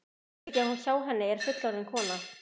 Hún veit ekki að hjá henni er fullorðin kona.